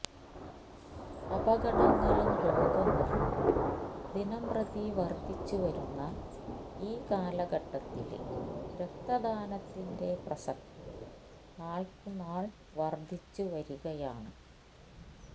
അപകടങ്ങളും രോഗങ്ങളും ദിനംപ്രതി വര്ധിച്ചുവരുന്ന ഈ കാലഘട്ടത്തില് രക്തദാനത്തിന്റെ പ്രസക്തി നാള്ക്കുനാള് വര്ധിച്ചുവരികയാണ്